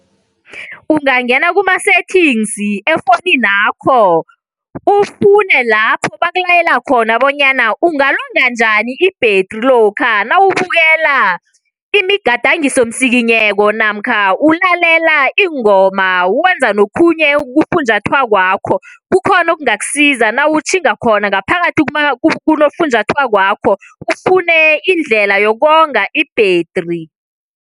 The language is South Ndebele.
Ungangena kuma-settings efoninakho ufune lapho bakulayela khona bonyana ungalonga njani ibhetri lokha nawubukela imigadangisomsikinyeko namkha ulalela ingoma wenza nokhunye kufunjathwakwakho kukhona okungakusiza nawutjhinga khona ngaphakathi kunofunjathwako ufune indlela yokonga ibhetri.